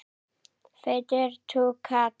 Feitur túkall.